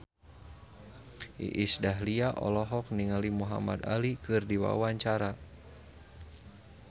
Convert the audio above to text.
Iis Dahlia olohok ningali Muhamad Ali keur diwawancara